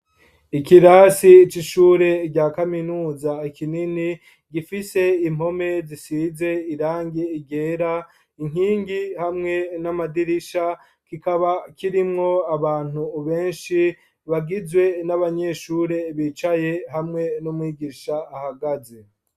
Ikirasi c' ishure rya kaminuza kinini, gifise impome zisize irangi ryera, inkingi hamwe n' amadirisha, kikaba kirimwo abantu benshi, bagizwe n' abanyeshuri bicaye hamwe n' umwigisha ahagaze.